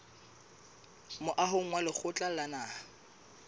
moahong wa lekgotla la naha